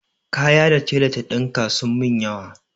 Kaya da tela ta ɗinka sun min yawa.